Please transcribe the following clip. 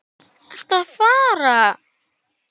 Ertu að fara?